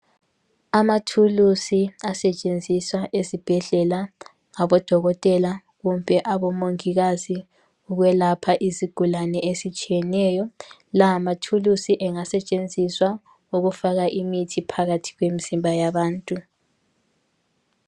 Amathulusi asetshenziswa esibhedlela ngabodokotela kumbe abomongikazi ukwelapha izigulane ezitshiyeneyo. Lawa mathulusi angasetshenziswa ukufaka imithi phakathi kwemizimba yabantu.